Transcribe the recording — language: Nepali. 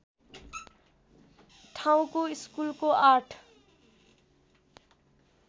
ठाउँको स्कुलको ८